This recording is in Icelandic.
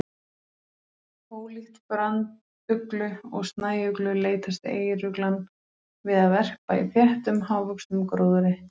Ólíkt branduglu og snæuglu leitast eyruglan við að verpa í þéttum, hávöxnum gróðri.